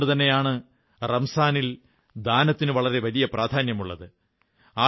അതുകൊണ്ടുതന്നെയാണ് റംസാനിൽ ദാനത്തിന് വളരെ പ്രാധാന്യമുള്ളത്